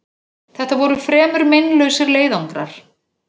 Þetta voru fremur meinlausir leiðangrar.